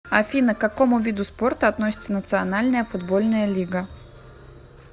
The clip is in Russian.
афина к какому виду спорта относится национальная футбольная лига